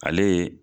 Ale ye